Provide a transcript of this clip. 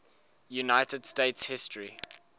united states history